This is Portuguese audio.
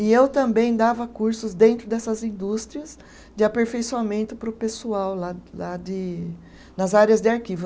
E eu também dava cursos dentro dessas indústrias de aperfeiçoamento para o pessoal lá lá de, nas áreas de arquivo.